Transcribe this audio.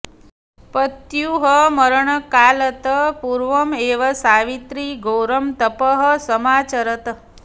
पत्युः मरणकालत् पूर्वम् एव सावित्री घोरं तपः समाचरत्